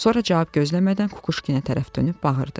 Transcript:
Sonra cavab gözləmədən Kukuşkinə tərəf dönüb bağırdı: